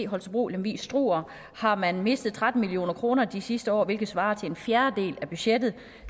holstebro lemvig struer har man mistet tretten million kroner de sidste år hvilket svarer til en fjerdedel af budgettet et